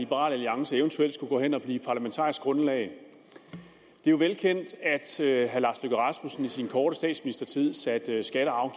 liberal alliance eventuelt skulle gå hen og blive parlamentarisk grundlag det er jo velkendt at herre lars løkke rasmussen i sin korte statsministertid satte skatter og